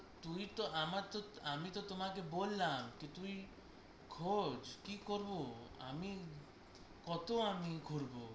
তুই তো আমরা তো আমি তো তোমাকে বললাম, কি তুই খোঁজ কি করবো আমি কতো আমি ঘুরবো